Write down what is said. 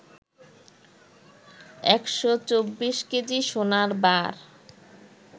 ১২৪ KG সোনার বার